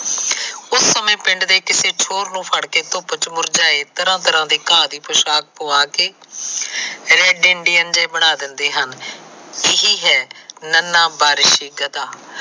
ਉਸ ਸਮੇ ਪਿੰਡ ਦੇ ਕਿਸੇ ਚੋਰ ਨੂੰ ਫੜ ਕੇ ਧੂੰਪ ਚ ਮੁਰਝਾਏ ਤਰਾ ਤਰਾ ਦੀ ਪੋਸ਼ਾਕ ਪੁਆ ਕੇ red Indian ਜੇ ਬਣਾ ਦਿੰਦੇ ਹਨ। ਇਹੀ ਹੈ ਨਨਾ ਬਾਰਿਸ਼ੀ ਗਧਾ